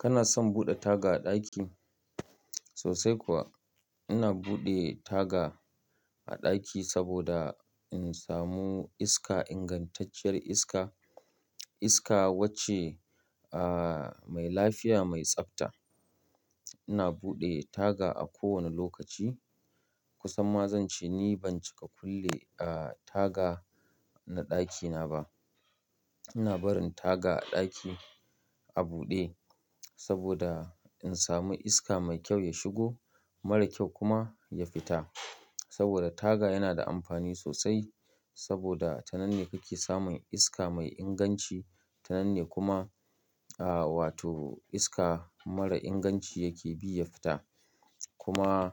Kana son buɗe taga a ɗaki? Sosai kuwa. Ina buɗe taga a ɗaki saboda in samu iska, ingantacciyar iska. Iska wacce, mai lafiya, mai tsafta. Ina buɗe taga a kowane lokaci. Kusan ma zan ce ni ban cika kulle, taga na ɗakina ba. Ina barin taga a ɗaki a buɗe saboda in samu iska mai kyau ya shigo, mara kyau kuma ya fita. Saboda taga yana da amfani sosai saboda tanan ne kake samun iska mai inganci. Tanan ne kuma, wato iska mara inganci yake bi ya fita. Kuma,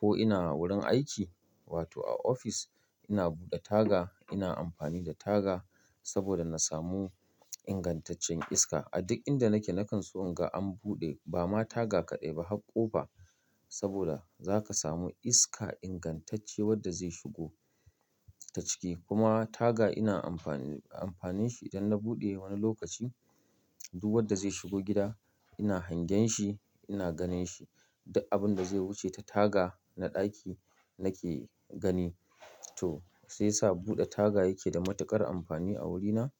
ko ina wurin aiki wato a ofis ina buɗe taga, ina amfani da taga saboda na samu ingantaccen iska. A duk inda nake, nakan so in ga an buɗe ba ma taga kaɗai ba, har kofa ba saboda zaka samu iska ingantacce wadda zai shigo ta ciki. Kuma taga ina amfani, amfanin shi idan na buɗe wani lokaci, duk wadda zai shigo gida ina hangen shi, ina ganin shi. Duk abin da zai wuce ta taga na ɗaki nake gani. To, sai sa buɗe taga yake da matuƙar amfani a wurina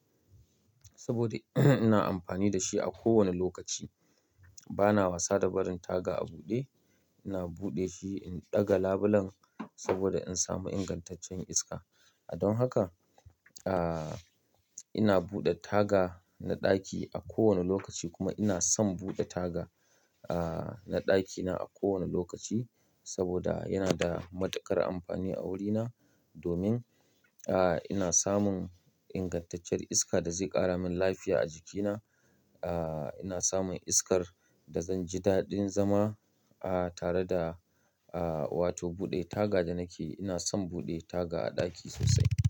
saboda ina amfani da shi a kowane lokaci. Bana wasa da barin taga a buɗe. Ina buɗe shi in ɗaga labulen saboda in samu ingantaccen iska. Don haka, a, ina buɗe taga na ɗaki a kowane lokaci kuma ina son buɗe taga, a, na ɗakina a kowane lokaci saboda yana da matuƙar amfani a wurina. Domin, ina samun ingantacciyar iska da zai ƙara min lafiya a jikina. A, ina samun iskar da zan ji daɗin zama, a, tare da, a, wato buɗe taga da nake. Ina son buɗe taga a ɗaki sosai.